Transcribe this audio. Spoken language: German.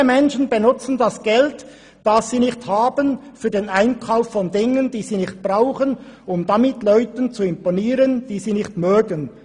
Viele Menschen benutzen das Geld, das sie nicht haben, für den Einkauf von Dingen, die sie nicht brauchen, um damit Leuten zu imponieren, die sie nicht mögen.